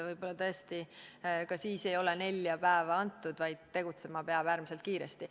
Võib-olla tõesti ei oleks siis ka nelja päeva antud, vaid tegutsema peaks äärmiselt kiiresti.